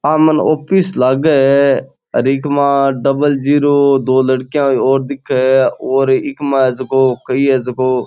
आ मने ऑफिस लागे है अर इक मा डबल जीरो दो लड़कियां और दिखे है और इक मा जको कई है जको --